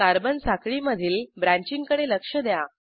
carbon साखळीमधील ब्रँचिंगकडे लक्ष द्या